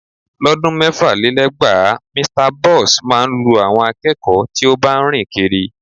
Lọ́dún mẹ́fàlélẹ́gbàá, Mr Boss máa ń lu àwọn akẹ́kọ̀ọ́ tí ó bá ń rìn kiri